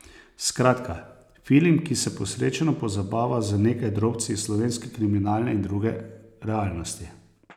Skratka, film, ki se posrečeno pozabava z nekaj drobci iz slovenske kriminalne in druge realnosti.